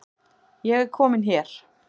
Ég er komin hér